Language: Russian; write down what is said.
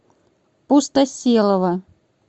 пустоселова